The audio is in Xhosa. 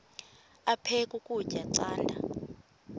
aphek ukutya canda